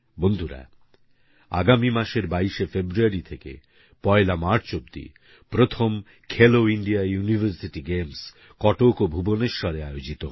বন্ধুরা আগামী মাসের ২২ ফেব্রুয়ারি থেকে ১লা মার্চ অব্দি প্রথম Khelo India University Games Cuttack ও ভুবনেশ্বরে আয়োজিত হবে